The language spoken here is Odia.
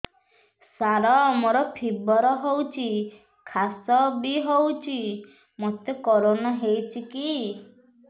ସାର ମୋର ଫିବର ହଉଚି ଖାସ ବି ହଉଚି ମୋତେ କରୋନା ହେଇଚି କି